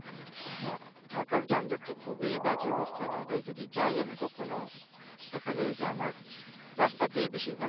হ্যাঁ, ঢাকার যানজট তো খুবই বাজে অবস্থা, ঢাকায় যদি যাই আমি কখনো দেখা যায় যে আমার রাস্তাতেই বেশিরভাগ সময়,